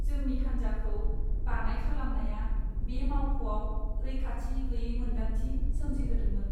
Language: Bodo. जोंनि हान्जाखौ बाङाइ खालामनाया बे मावख'आव रैखाथि गैयै मोन्दांथि सोमजिहोदोंमोन।